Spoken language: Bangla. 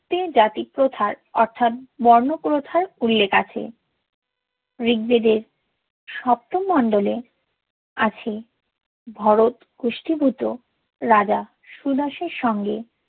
তিন জাতির প্রথার অর্থাৎ বর্ণপ্রথার উল্লেখ আছে ঋগবেদের সপ্তম মণ্ডলে আছে ভরতকুষ্টিভূত রাজা সুদাসের সঙ্গে